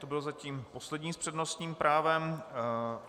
To byl zatím poslední s přednostním právem.